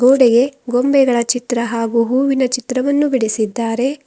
ಗೋಡೆಗೆ ಗೊಂಬೆಗಳ ಚಿತ್ರ ಹಾಗು ಹೂವಿನ ಚಿತ್ರವನ್ನು ಬಿಡಿಸಿದ್ದಾರೆ.